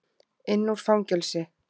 inn úr fangelsi.